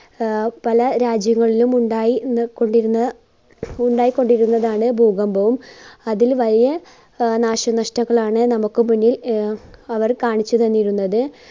ആഹ് പല രാജ്യങ്ങളിലുമുണ്ടായി~കൊണ്ടിരുന്ന ഉണ്ടായികൊണ്ടിരുന്നതാണ് ഭൂകമ്പവും അതിൽ വലിയ അഹ് നാശനഷ്ടങ്ങളാണ് നമ്മുക്ക് മുന്നിൽ അഹ് അവർ കാണിച്ച് തന്നിരുന്നത്.